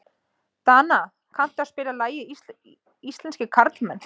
Dana, kanntu að spila lagið „Íslenskir karlmenn“?